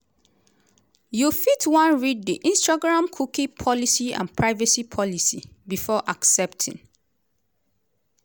you fit wan read di instagramcookie policyandprivacy policybefore accepting.